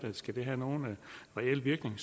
det skal have nogen reel virkning